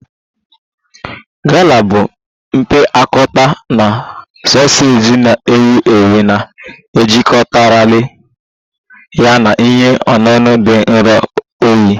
Gala bụ mpịakọta soseji na-ewu ewu na-ejikọtakarị ya na ihe ọṅụṅụ dị nro oyi